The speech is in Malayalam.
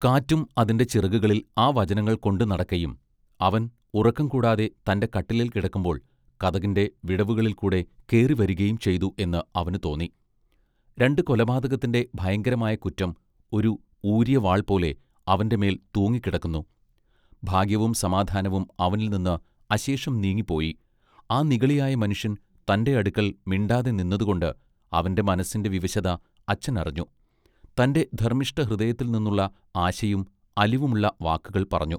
കാറ്റും അതിന്റെ ചിറകുകളിൽ ആ വചനങ്ങൾകൊണ്ട് നടക്കയും അവൻ ഉറക്കം കൂടാതെ തന്റെ കട്ടിലേൽ കിടക്കുമ്പോൾ കതകിന്റെ വിടവുകളിൽ കൂടെ കേറിവരികയും ചെയ്തു എന്ന് അവനു തോന്നി രണ്ടു കൊലപാതകത്തിന്റെ ഭയങ്കരമായ കുറ്റം ഒരു ഊരിയവാൾ പോലെ അവന്റെ മേൽ തൂങ്ങിക്കിടന്നു ഭാഗ്യവും സമാധാനവും അവനിൽനിന്ന് അശേഷം നീങ്ങിപൊയി ആ നിഗളിയായ മനുഷ്യൻ തന്റെ അടുക്കൽ മിണ്ടാതെ നിന്നതുകൊണ്ട് അവന്റെ മനസ്സിന്റെ വിവശത അച്ഛൻ അറിഞ്ഞു തന്റെ ധർമ്മിഷ്ഠ ഹൃദയത്തിൽ നിന്നുള്ള ആശയും അലിവുമുള്ള വാക്കുകൾ പറഞ്ഞു.